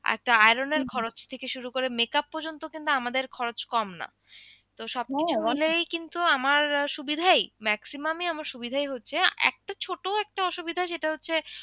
একটা iron এর খরচ থেকে শুরু করে makeup পর্যন্ত কিন্তু আমাদের খরচ কম না তো সবকিছু মিলেই কিন্তু আমার সুবিধাই maximum ই আমার সুবিধাই হচ্ছে একটা ছোট একটা অসুবিধা সেটা হচ্ছে,